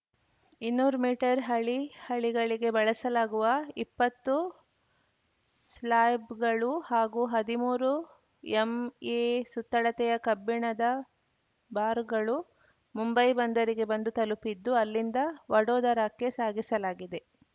ಇನ್ನೂರು ಮೀಟರ್‌ ಹಳಿ ಹಳಿಗಳಿಗೆ ಬಳಸಲಾಗುವ ಇಪ್ಪತ್ತು ಸ್ಲಾ್ಯಬ್‌ಗಳು ಹಾಗೂ ಹದಿಮೂರು ಎಂಎ ಸುತ್ತಳತೆಯ ಕಬ್ಬಿಣದ ಬಾರ್‌ಗಳು ಮುಂಬೈ ಬಂದರಿಗೆ ಬಂದು ತಲುಪಿದ್ದು ಅಲ್ಲಿಂದ ವಡೋದರಾಕ್ಕೆ ಸಾಗಿಸಲಾಗಿದೆ